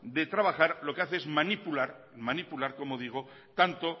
de trabajar lo que hace es manipular tanto